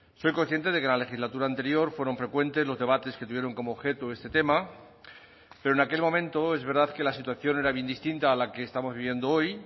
soy consciente de que la legislatura anterior fueron frecuentes los debates que tuvieron como objeto este tema pero en aquel momento es verdad que la situación era bien distinta a la que estamos viendo hoy